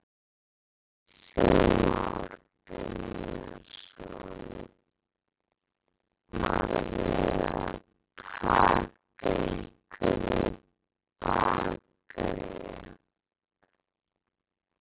Kristján Már Unnarsson: Var verið að taka ykkur í bakaríið?